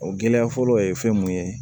O gɛlɛya fɔlɔ ye fɛn mun ye